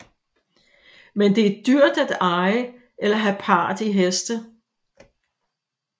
Men det er dyrt at eje eller have part i heste